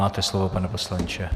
Máte slovo, pane poslanče.